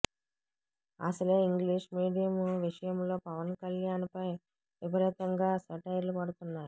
అసలే English medium విషయంలో పవన్ కల్యాణ్ పై విపరీతంగా సెటైర్లు పడుతున్నాయి